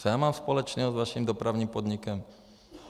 Co já mám společného s vaším Dopravním podnikem?